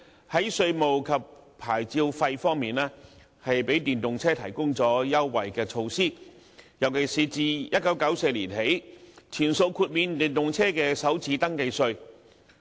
在稅務及牌照費方面，政府向電動車提供優惠措施，尤其是自1994年起，全數豁免電動車的首次登記稅。